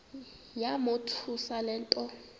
yamothusa le nto